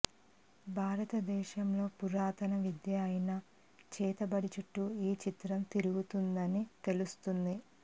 భారత దేశంలో పురాతన విద్య అయిన చేతబడి చుట్టూ ఈ చిత్రం తిరుగుతుందని తెలుస్తోంది